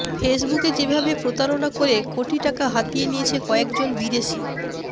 ফেসবুকে যেভাবে প্রতারণা করে কোটি টাকা হাতিয়ে নিয়েছে কয়েকজন বিদেশি